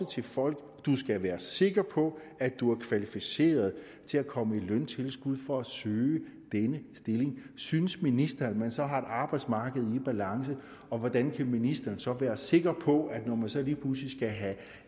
til folk du skal være sikker på at du er kvalificeret til at komme i løntilskud for at søge denne stilling synes ministeren at man så har et arbejdsmarked i balance og hvordan kan ministeren så være sikker på at vi når man så lige pludselig skal have